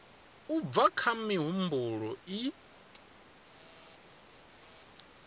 u bva kha mihumbulo i